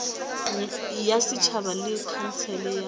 ya setšhaba le khansele ya